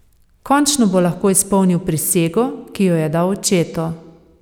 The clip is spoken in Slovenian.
Končno bo lahko izpolnil prisego, ki jo je dal očetu.